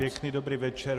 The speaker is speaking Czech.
Pěkný dobrý večer.